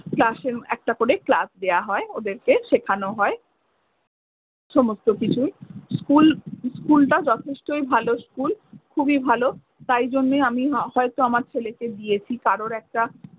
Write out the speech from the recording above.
class এ, একটা করে class দেওয়া হয় ওদেরকে, শেখানো হয়। সমস্ত কিছুই school school টা যথেষ্টই ভালো school খুবই ভালো। তাই জন্য আমি হ~ হয়তো আমার ছেলেকে দিয়েছি। কারোর একটা